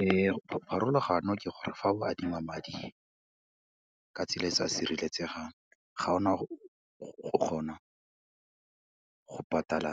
Ee, pharologano ke gore fa o adima madi ka tsela e e sa sireletsegang, ga ona go kgona go patala